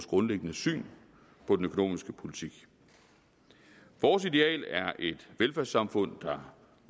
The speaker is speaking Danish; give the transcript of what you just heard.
grundlæggende syn på den økonomiske politik vores ideal er et velfærdssamfund der